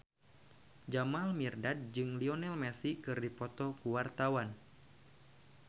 Jamal Mirdad jeung Lionel Messi keur dipoto ku wartawan